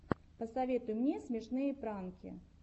посоветуй мне смешные пранки